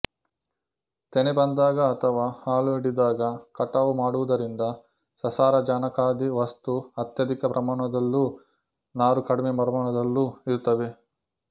ತೆನೆ ಬಂದಾಗ ಅಥವಾ ಹಾಲು ಹಿಡಿದಾಗ ಕಟಾವು ಮಾಡುವುದರಿಂದ ಸಸಾರಜನಕಾದಿ ವಸ್ತು ಅತ್ಯಧಿಕ ಪ್ರಮಾಣದಲ್ಲೂ ನಾರು ಕಡಿಮೆ ಪ್ರಮಾಣದಲ್ಲೂ ಇರುತ್ತವೆ